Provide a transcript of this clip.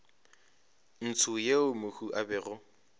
ntsho yeo mohu a bego